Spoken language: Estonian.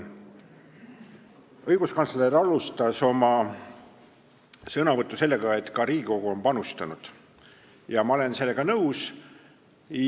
Õiguskantsler alustas oma sõnavõttu sellega, et ka Riigikogu on panustanud, ja ma olen sellega nõus.